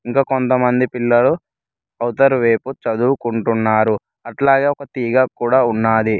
ఇంకా కొంతమంది పిల్లలు అవుతారు రేపు చదువుకుంటున్నారు అట్లాగే ఓక తీగ కూడ ఉనది.